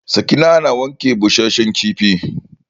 Sakina na wanke busashen kifi.